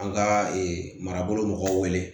An ka marabolo mɔgɔw wele